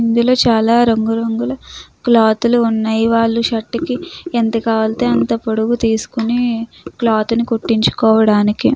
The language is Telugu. ఇందులో చాలా రంగురంగుల క్లాతులు ఉన్నాయి. వాళ్లు షర్టుకి ఎంత కావాలితే అంత పొడువు తీసుకొని క్లాత్ ని కుట్టించుకోవడానికి --